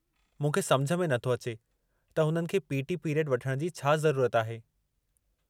मूंखे सम्झ में नथो अचे त हुननि खे पी.टी. पीरियडु वठण जी छा ज़रूरत आहे।